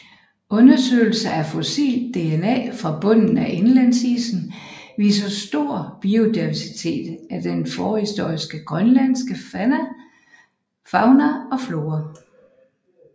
Undersøgelser af fossilt DNA fra bunden af indlandsisen viser stor biodiversitet af den forhistoriske grønlandske fauna og flora